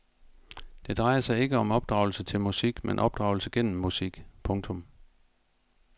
Det drejer sig ikke om opdragelse til musik men opdragelse gennem musik. punktum